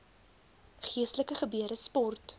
geestelike gebeure sport